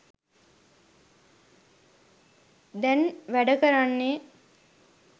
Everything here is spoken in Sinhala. දැන් වැඩ කරන්නේ.